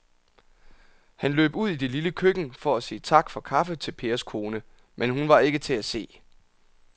Han løb ud i det lille køkken for at sige tak for kaffe til Pers kone, men hun var ikke til at se.